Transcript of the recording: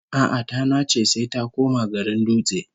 A'a, ta nace sai ta koma garin Dutse